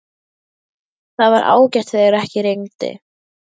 Það var ágætt þegar ekki rigndi.